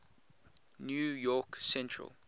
new york central